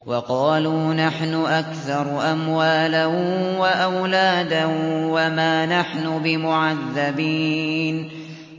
وَقَالُوا نَحْنُ أَكْثَرُ أَمْوَالًا وَأَوْلَادًا وَمَا نَحْنُ بِمُعَذَّبِينَ